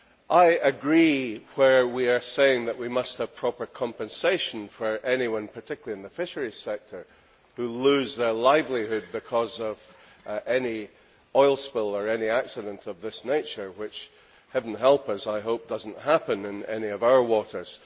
I agree when we say that we must have proper compensation for all those, particularly in the fisheries sector, who lose their livelihood because of an oil spill or any accident of this nature which heaven help us I hope does not happen in any of our waters.